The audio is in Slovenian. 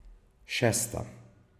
Šesta.